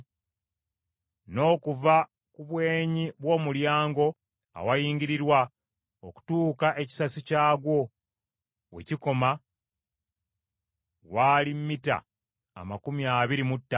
N’okuva ku bwenyi bw’omulyango awayingirirwa okutuuka ekisasi kyagwo we kikoma waali mita amakumi abiri mu ttaano.